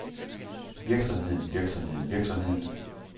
virksomheden virksomheden virksomheden